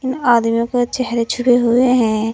आदमी के चेहरे छुपे हुए हैं।